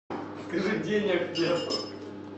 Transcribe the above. скажи денег нету